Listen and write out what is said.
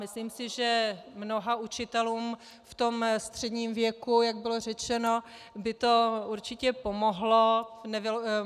Myslím si, že mnoha učitelům v tom středním věku, jak bylo řečeno, by to určitě pomohlo.